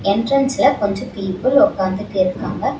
என்றன்ஸ்ல கொஞ்ச பீப்புல் ஒக்காந்துட்டு இருக்காங்க.